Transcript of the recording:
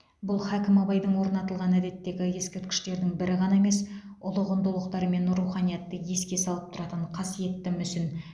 бұл хәкім абайдың орнатылған әдеттегі ескерткіштердің бірі ғана емес ұлы құндылықтар мен руханиятты еске салып тұратын қасиетті мүсін